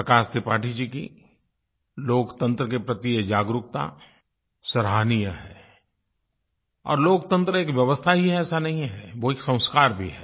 प्रकाश त्रिपाठी जी की लोकतंत्र के प्रति ये जागरूकता सराहनीय है और लोकतंत्र एक व्यवस्था ही है ऐसा नहीं है वो एक संस्कार भी है